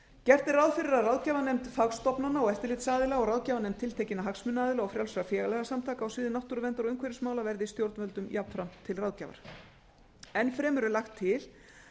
gert er ráð fyrir að ráðgjafarnefnd fagstofnana og eftirlitsaðila og ráðgjafarnefnd tiltekinna hagsmunaaðila og frjálsra félagasamtaka á sviði náttúruverndar og umhverfismála verði stjórnvöldum jafnframt til ráðgjafar enn fremur er lagt til